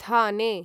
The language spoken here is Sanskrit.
थाने